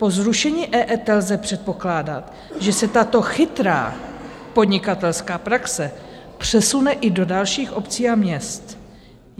Po zrušení EET lze předpokládat, že se tato chytrá podnikatelská praxe přesune i do dalších obcí a měst.